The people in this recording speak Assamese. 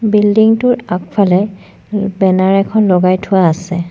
বিল্ডিং টোৰ আগফালে বেনাৰ এখন লগাই থোৱা আছে।